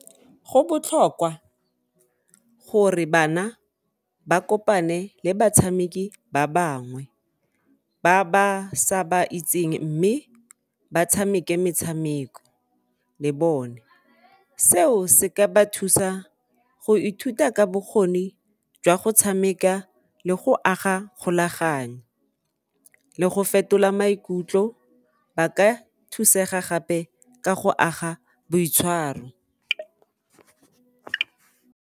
Go botlhokwa gore bana ba kopane le batshameki ba bangwe, ba ba sa ba itseng mme ba tshameke metshameko le bone. Seo se ka ba thusa go ithuta ka bokgoni jwa go tshameka le go aga kgolaganyo le go fetola maikutlo ba ka thusega gape ka go aga boitshwaro.